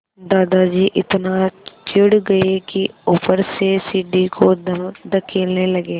दादाजी इतना चिढ़ गए कि ऊपर से सीढ़ी को धकेलने लगे